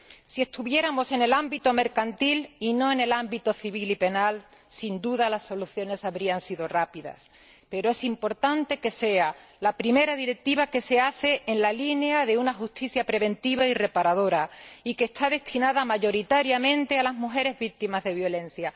Si estuviéramos en el ámbito mercantil y no en el ámbito civil y penal, sin duda las soluciones habrían sido rápidas, pero es importante que sea la primera directiva que se hace en la línea de una justicia preventiva y reparadora, y que está destinada mayoritariamente a las mujeres víctimas de la violencia.